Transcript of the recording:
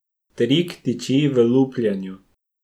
Trik tiči v lupljenju.